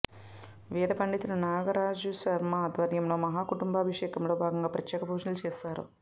వేధ పండితుడు నాగరాజుశర్మ ఆధ్వర్యంలో మహా కుంబా భిషేకంలో భాగంగా ప్రత్యేక పూజలు చేశారు